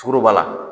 Sukaro b'a la